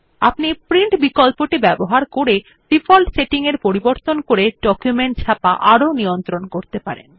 আপনি প্রিন্ট বিকল্পটি ব্যবহার করে ডিফল্ট সেটিং পরিবর্তন করে ডকুমেন্ট ছাপা আরও নিয়ন্ত্রণ করতে পারেন